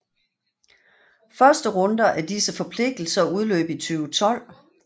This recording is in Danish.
Første runde af disse forpligtelser udløb 2012